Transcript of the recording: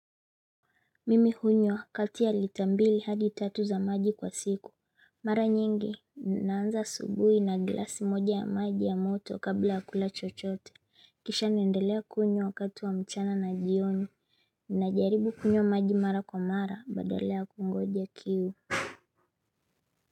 Mimi hunywa, kati ya lita mbili hadi tatu za maji kwa siku. Mara nyingi, naanza asubuhi na glasi moja ya maji ya moto kabla ya kula chochote. Kisha naendelea kunywa wakati wa mchana na jioni. Najaribu kunywa maji mara kwa mara, badala ya kungoja kiu.